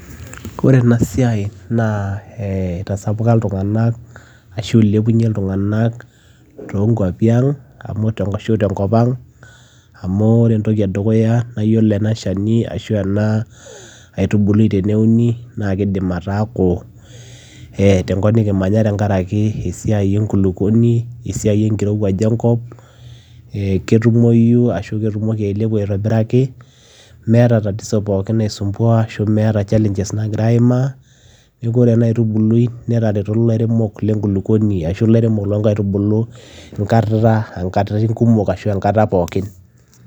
Kore ena siai naa ee itasapuka iltung'anak ashu ilepunye iltung'anak too nkuapi ang' amu te nkop ang' amuore entoki naa iyiolo ena shani ashu ena aitubului teneuni naake iidim ataaku e tenkop nekimanya tenkaraki esiai e nkulukoni, esiai enkirowuaj enkop, ee ketumoyu ashu ketumoki ailepu aitobiraki meeta tatizo pookin nai sumbua ashu meeta challenges nagiraa aimaa. Neeku ore ena aitubului netareto ilairemok le nkulukoni ashu ilairemok lo nkaitubulu enkata enkataitin kumok ashu enkata pookin.